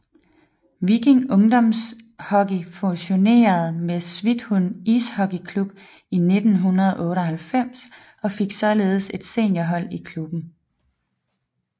Viking Ungdomshockey fusionerede med Svithun Ishockeyklubb i 1998 og fik således et seniorhold i klubben